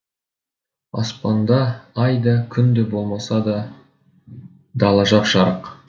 аспанда ай да күн де болмаса да дала жап жарық